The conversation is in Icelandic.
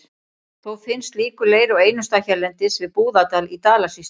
Þó finnst slíkur leir á einum stað hérlendis, við Búðardal í Dalasýslu.